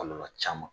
Kɔlɔlɔ caman